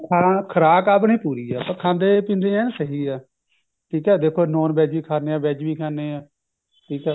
ਖੁਰਾਕ ਆਪਣੀ ਪੂਰੀ ਹੈ ਆਪਾਂ ਖਾਂਦੇ ਪੀਂਦੇ ਹਾਂ ਸਹੀ ਹੈ ਠੀਕ ਹੈ veg ਵੀ ਖਾਂਦੇ ਹਾਂ non veg ਵੀ ਖਾਂਦੇ ਹਾਂ ਠੀਕ ਹੈ